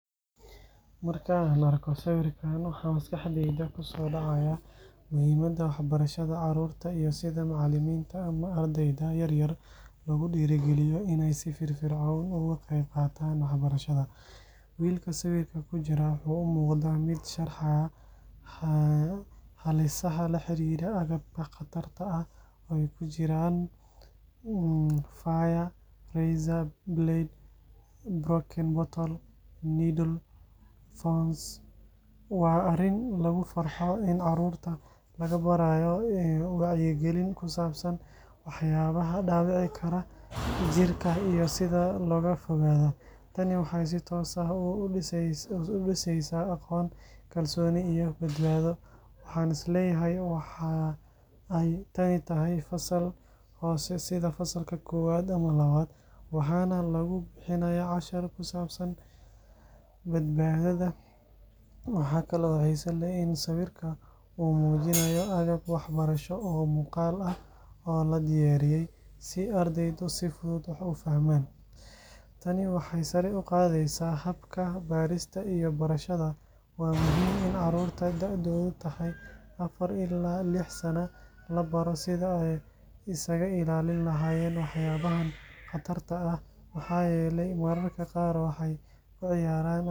Marka aan arko sawirkan, waxa maskaxdayda ku soo dhacaya muhiimadda waxbarashada carruurta iyo sida macallimiinta ama ardayda yaryar loogu dhiirrigeliyo inay si firfircoon uga qayb qaataan waxbarashada. Wiilka sawirka ku jira wuxuu u muuqdaa mid sharxaya halisaha la xiriira agabka khatarta ah oo ay ku jiraan fire, razor blade, broken bottle, needle, iyo thorns. Waa arrin lagu farxo in carruurta la barayo wacyigelin ku saabsan waxyaabaha dhaawici kara jirka iyo sida looga fogaado. Tani waxay si toos ah u dhiseysaa aqoon, kalsooni iyo badbaado. Waxaan is leeyahay waxa ay tani tahay fasal hoose sida fasalka koowaad ama labaad, waxaana lagu bixinayaa cashar ku saabsan badbaadada. Waxa kale oo xiiso leh in sawirka uu muujinayo agab waxbarasho oo muuqaal ah oo la diyaariyey si ardaydu ay si fudud wax u fahmaan. Tani waxay sare u qaadaysaa habka barista iyo barashada. Waa muhiim in carruurta da’doodu tahay afar ilaa lix sano la baro sida ay isaga ilaalin lahaayeen waxyaabaha khatarta ah, maxaa yeelay mararka qaar waxay ku ciyaaraan agab aysan.